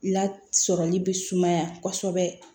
Lasɔrɔli be sumaya kosɛbɛ